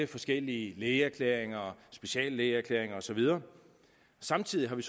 forskellige lægeerklæringer speciallægeerklæringer og så videre samtidig har vi